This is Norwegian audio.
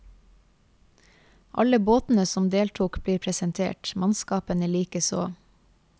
Alle båtene som deltok blir presentert, mannskapene likeså.